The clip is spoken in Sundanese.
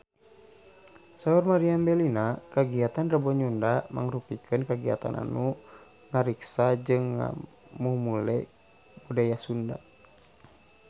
Saur Meriam Bellina kagiatan Rebo Nyunda mangrupikeun kagiatan anu ngariksa jeung ngamumule budaya Sunda